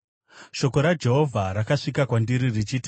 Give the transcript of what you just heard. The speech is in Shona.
Shoko raJehovha rakasvika kwandiri richiti,